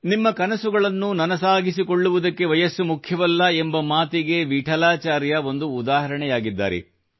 ನಿಮ್ಮ ಕನಸುಗಳನ್ನು ನನಸಾಗಿಸಿಕೊಳ್ಳುವುದಕ್ಕೆ ವಯಸ್ಸು ಮುಖ್ಯವಲ್ಲ ಎಂಬ ಮಾತಿಗೆ ವಿಠಾಲಾಚಾರ್ಯ ಒಂದು ಉದಾಹರಣೆಯಾಗಿದ್ದಾರೆ